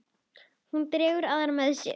Hún dregur aðra með sér.